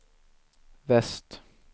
väst